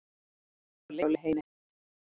Ég var lengi á leiðinni heim.